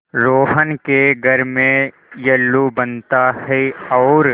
रोहन के घर में येल्लू बनता है और